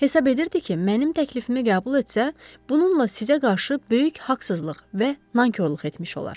Hesab edirdi ki, mənim təklifimi qəbul etsə, bununla sizə qarşı böyük haqsızlıq və nankorluq etmiş olar.